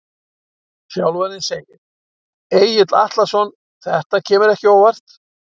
Þjálfarinn segir- Egill Atlason Þetta kemur ekki á óvart.